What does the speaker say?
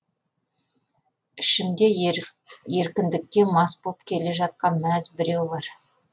ішімде еркіндікке мас боп келе жатқан мәз біреу бар